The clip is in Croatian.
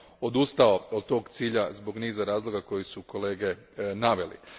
odustao od tog cilja zbog niza razloga koje su kolege naveli.